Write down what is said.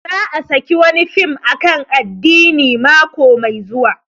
Za a saki wani fim akan addini mako mai zuwa